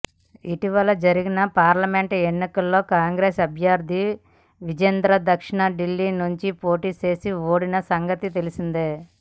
ఇటీవల జరిగిన పార్లమెంట్ ఎన్నికల్లో కాంగ్రెస్ అభ్యర్థిగా విజేందర్ దక్షిణ దిల్లీ నుంచి పోటీ చేసి ఓడిన సంగతి తెలిసిందే